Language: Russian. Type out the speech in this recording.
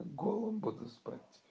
голым буду спать